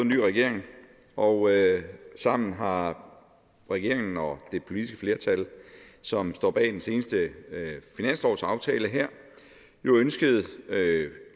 ny regering og sammen har regeringen og det politiske flertal som står bag den seneste finanslovsaftale jo ønsket